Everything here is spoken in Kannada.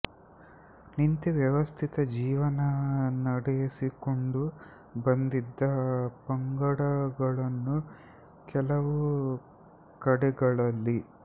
ನಿಂತು ವ್ಯವಸ್ಥಿತ ಜೀವನ ನಡೆಸಿಕೊಂಡು ಬಂದಿದ್ದ ಪಂಗಡಗಳೂ ಕೆಲವು ಕಡೆಗಳಲ್ಲಿ